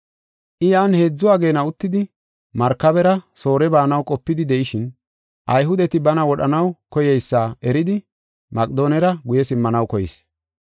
I yan heedzu ageena uttidi, markabera Soore baanaw qopidi de7ishin, Ayhudeti bana wodhanaw koyeysa eridi Maqedoonera guye simmanaw koyis.